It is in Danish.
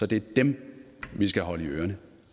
det er dem vi skal holde i ørerne